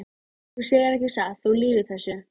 Þú segir ekki satt, þú lýgur þessu!